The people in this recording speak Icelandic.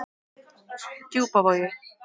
Djúpavogi